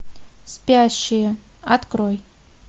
спящие открой